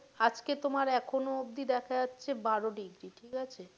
আজকে তোমার এখনও অব্দি দেখা যাচ্ছে বারো ডিগ্রি ঠিক আছে?